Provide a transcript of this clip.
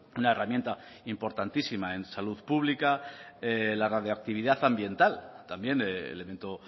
una herramienta importantísima en salud pública la radioactividad ambiental también elemento